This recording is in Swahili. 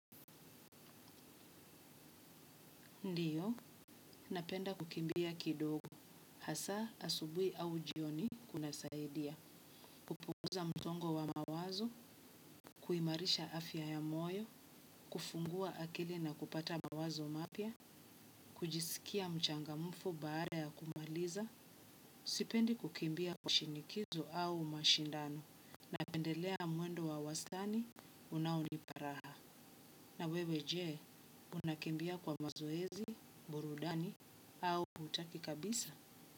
Ndiyo, napenda kukimbia kidogo, hasa asubuhi au jioni kunasaidia kupunguza msongo wa mawazo, kuimarisha afya ya moyo, kufungua akili na kupata mawazo mapia kujisikia mchangamfu baada ya kumaliza. Sipendi kukimbia kwa shinikizo au mashindano napendelea mwendo wa wastani, unaonipa raha na wewe jee? Unakimbia kwa mazoezi, burudani au hutaki kabisa?